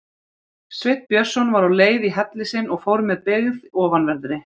Sveinn Björnsson var á leið í helli sinn og fór með byggð ofanverðri.